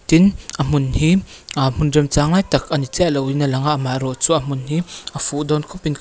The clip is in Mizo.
tin a hmun hi aah hmun remchang lai tak ani chiahloin a langa maherawh chu a hmun hi a fuh dawn khawpin ka--